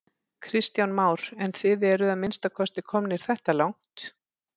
Kristján Már: En þið eruð að minnsta kosti komnir þetta langt?